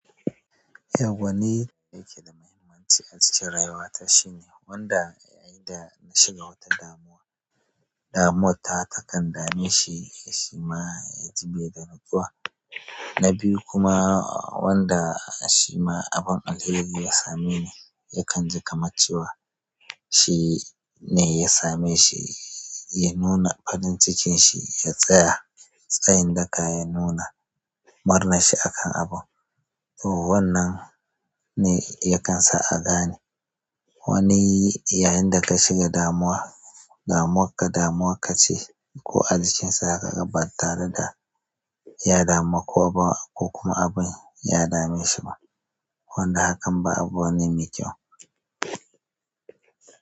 Yawwa ni yake da mahimmanci a cikin raiwata shine wanda yayin da na shiga wata damuwa, damuwar ta takan dame shi ya shima ya ji bai da nutsuwa. Na biyu kuma wanda shi ma abun alheri ya same ni yakan ji kamacciwa. Shi ne ya same shi ya nuna faɗin cikinshi ya tsaya tsayin daka ya nuna murnanshi akan abu. Toh wannan ne yakan sa a gane wani yayin da ka shiga damuwa damuwakka damuwakka ce ko a jikin sa za ka ga ba tareda ya damu ka ba ko kuma abun ya dame shi ba. Wanda hakan ba abu ne mai kyau.